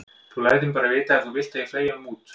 Þú lætur mig bara vita ef þú vilt að ég fleygi honum út.